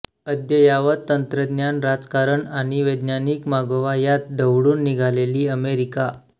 अद्ययावत तंत्रज्ञान राजकारण आणि वैज्ञानिक मागोवा यात ढवळून निघालेली अमेरिका